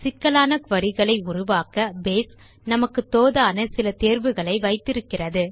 சிக்கலான குரீஸ் களை உருவாக்க பேஸ் நமக்கு தோதான சில தேர்வுகளை வைத்து இருக்கிறது